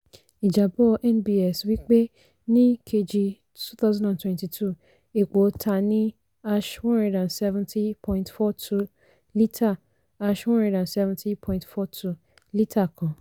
ìjábọ́ nbs wí pé ní kejì twenty twenty two epo ta ní # one hundred seventy point four two lítà # one hundred seventy point four two lítà kan.